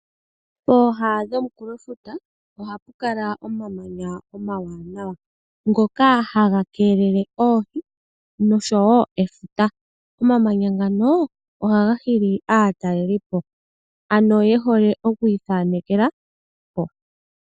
Pooha dhomunkulofuta, oha pu kala omamanya omawanawa, ngoka haga keelele oohi noshowo efuta. Omamanya ngano ohaga hili aatalelipo, ano ye hole oku ithanekela po.